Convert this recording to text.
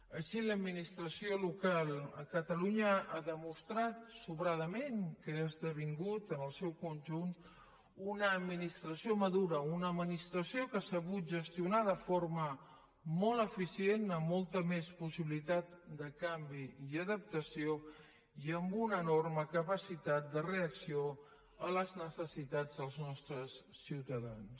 així l’administració local a catalunya ha demostrat sobradament que ha esdevingut en el seu conjunt una administració madura una administració que ha sabut gestionar de forma molt eficient amb molta més possibilitat de canvi i adaptació i amb una enorme capacitat de reacció a les necessitats dels nostres ciutadans